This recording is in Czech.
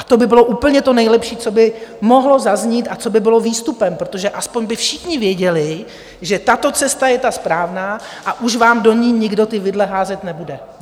A to by bylo úplně to nejlepší, co by mohlo zaznít a co by bylo výstupem, protože aspoň by všichni věděli, že tato cesta je ta správná a už vám do ní nikdo ty vidle házet nebude.